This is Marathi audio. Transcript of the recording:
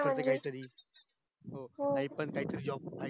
आहे काही तरी आई पण काहीतरी job करते